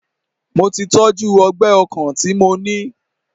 Mo tí tọ́jú ọgbẹ́ ọkàn tí mo ní.